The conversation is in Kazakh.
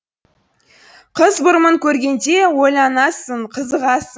қыз бұрымын көргенде ойланасың қызығасың